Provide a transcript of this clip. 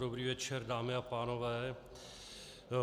Dobrý večer, dámy a pánové.